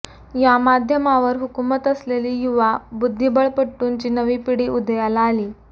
या माध्यमावर हुकूमत असलेली युवा बुद्धिबळपटूंची नवी पिढी उदयाला आली